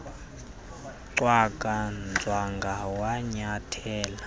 cwaka nzwanga wanyathela